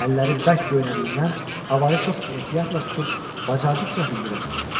Əlləri bərk göynədiyindən avarı çox ehtiyatla tutub bacardıqca hündürə qaldırdı.